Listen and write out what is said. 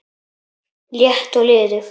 létt og liðug